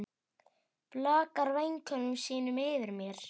Blakar vængjum sínum yfir mér.